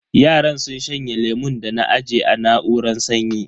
Yaran sun shanye lemun da na aje a na'uran sanyi.